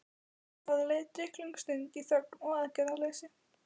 Það leið drykklöng stund í þögn og aðgerðaleysi.